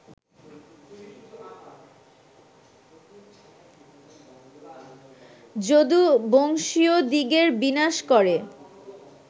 যদুবংশীয়দিগের বিনাশ করে